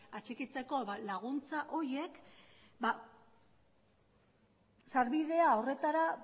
atxikitzeko laguntza horiek sarbidea horretara